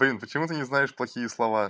блин почему ты не знаешь плохие слова